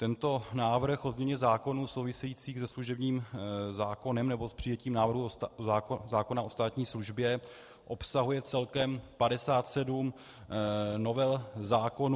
Tento návrh o změně zákonů souvisejících se služebním zákonem, nebo s přijetím návrhu zákona o státní službě, obsahuje celkem 57 novel zákonů.